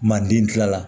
Manden kila la